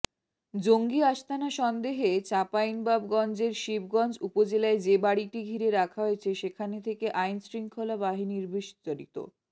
জঙ্গি আস্তানা সন্দেহে চাঁপাইনবাবগঞ্জের শিবগঞ্জ উপজেলায় যে বাড়িটি ঘিরে রাখা হয়েছে সেখানে থেকে আইনশৃঙ্খলা বাহিনীরবিস্তারিত